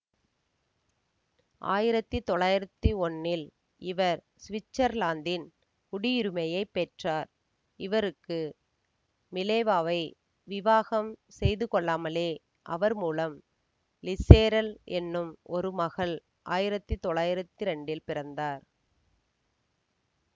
ஆயிரத்தி தொள்ளாயிரத்தி ஒன்னில் இவர் சுவிற்சர்லாந்தின் குடியுரிமையைப் பெற்றார் இவருக்கு மிலேவாவை விவாகம் செய்துகொள்ளாமலே அவர்மூலம் லிசேர்ள் என்னும் ஒரு மகள் ஆயிரத்தி தொள்ளாயிரத்தி இரண்டீல் பிறந்தார்